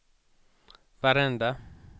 varenda